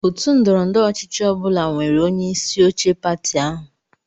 Otu ndọrọ ndọrọ ọchịchị ọ bụla nwere onyeisi oche pati ahụ.